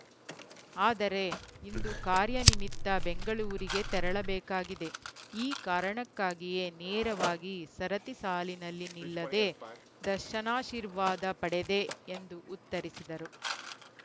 ಆದರೆ ಇಂದು ಕಾರ್ಯನಿಮಿತ್ತ ಬೆಂಗಳೂರಿಗೆ ತೆರಳಬೇಕಾಗಿದೆ ಈ ಕಾರಣಕ್ಕಾಗಿಯೇ ನೇರವಾಗಿ ಸರತಿ ಸಾಲಿನಲ್ಲಿ ನಿಲ್ಲದೇ ದರ್ಶನಾಶೀರ್ವಾದ ಪಡೆದೆ ಎಂದು ಉತ್ತರಿಸಿದರು